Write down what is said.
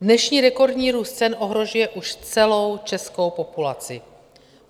Dnešní rekordní růst cen ohrožuje už celou českou populaci.